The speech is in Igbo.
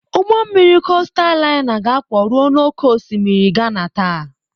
Ụgbọ mmiri kostal laina ga-akwọ rue n'oké osimiri Ghana taa.